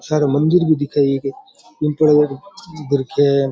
सारे मंदिर भी दिखे एक बीम थोड़ो क --